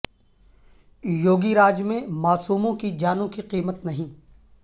you گی راج میں معصوموں کی جانوں کی قیمت نہیں